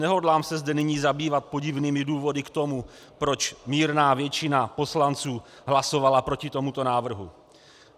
Nehodlám se zde nyní zabývat podivnými důvody k tomu, proč mírná většina poslanců hlasovala proti tomuto návrhu.